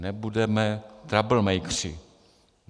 Nebudeme troublemakeři.